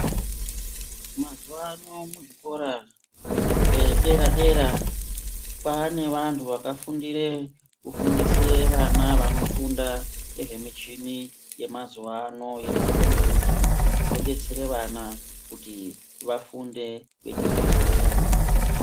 Mazuwano muzvikora zvedera dera kwaane vantu vakafundirw kufundise vana vanofunda ngezvemuchini yemazuwa ano Yemakombiyita yodetsere vana kuti vafunde vechizwisisa.